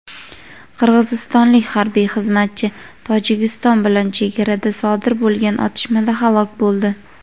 Qirg‘izistonlik harbiy xizmatchi Tojikiston bilan chegarada sodir bo‘lgan otishmada halok bo‘ldi.